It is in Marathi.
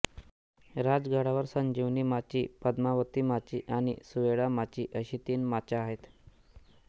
राजगडावर संजीवनी माची पद्मावती माची आणि सुवेळा माची अशी तीन माच्या आहेत